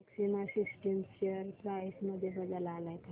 maxima systems share price मध्ये बदल आलाय का